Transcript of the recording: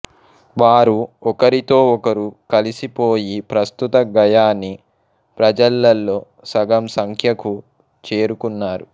వారు ఒకరితో ఒకరు కలిసిపోయి ప్రస్తుత గయానీ ప్రజలలో సగం సంఖ్యకు చేరుకున్నారు